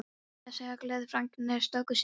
Meira að segja gleðifregnir stöku sinnum.